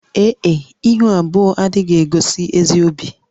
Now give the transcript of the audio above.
Ee e, ihu abụọ adịghị egosi ezi obi